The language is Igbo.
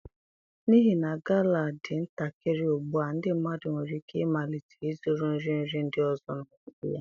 N'ihi na Gala dị ntakịrị ugbu a ndị mmadụ nwere ike ịmalite ịzụrụ nri nri ndị ọzọ n'ọnọdụ ya.